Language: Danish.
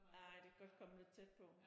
Nej det kan godt komme lidt tæt på